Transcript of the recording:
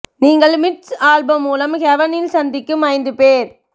நீங்கள் Mitch Albom மூலம் heaven இல் சந்திக்கும் ஐந்து பேர்